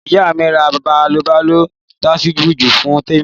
Ìyá mi rà bàọlọjí tẹsíbùkú fún Tẹmi